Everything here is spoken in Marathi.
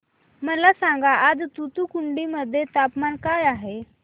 मला सांगा आज तूतुकुडी मध्ये तापमान काय आहे